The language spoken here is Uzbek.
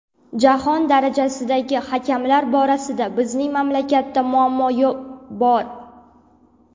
Jahon darajasidagi hakamlar borasida bizning mamlakatda muammo bor.